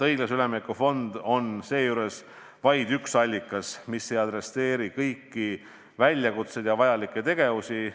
" Õiglase ülemineku fond on siinkohal vaid üks allikas, mis ei adresseeri kõiki väljakutseid ja vajalikke tegevusi.